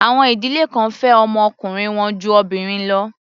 Àwọn ìdílé kan fẹ́ ọmọ ọkùnrin wọn ju obìnrin lọ.